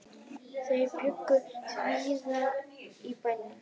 Þau bjuggu víða í bænum.